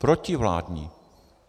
Protivládní.